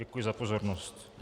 Děkuji za pozornost.